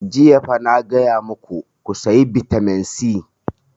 Jiya fa na gaya maku ku saya vitamin c!